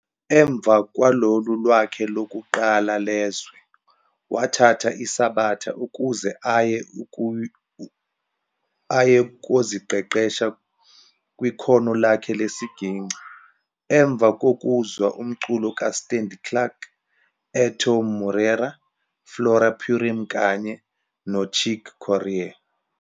Emva kwalolu lwakhe lokuqala lezwe, wathatha isabatha ukuze aye koziqeqesha kwikhono lakhe lesigingci emva kokuzwa umculo kaStanley Clarke, Airto Moreira, Flora Purim kanye no Chick Corea.